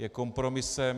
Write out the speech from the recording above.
Je kompromisem.